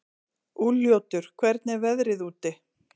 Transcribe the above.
Úlfljótur, hvernig er veðrið úti?